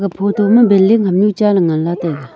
photo ma bilding hamnu chaley nganla taiga.